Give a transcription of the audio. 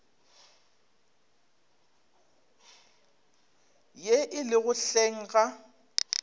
ye e lego hleng ga